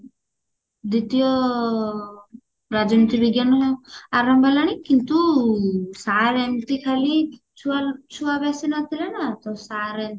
ଦ୍ଵିତୀୟ ରାଜନୀତି ବିଜ୍ଞାନ ଆରମ୍ଭ ହେଲାଣି କିନ୍ତୁ sir ଏମତି ଖାଲି ଛୁଆ ଛୁଆ ବେଶୀ ନଥିଲେ ନା ତ sir